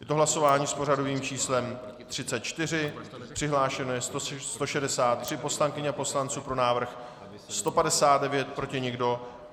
Je to hlasování s pořadovým číslem 34, přihlášeno je 163 poslankyň a poslanců, pro návrh 159, proti nikdo.